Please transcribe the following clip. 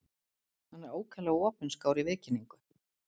Hann er ákaflega opinskár í viðkynningu.